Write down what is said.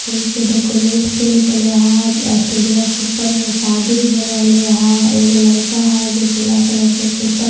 फूल से डेकुरेट कर लिगे है ऐसटेचवा के ऊपर में शादी हो रह लिए है एक वो लरका है जो पीले कलर का कुर्ता पहन लिए--